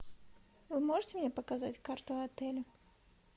вы можете мне показать карту отеля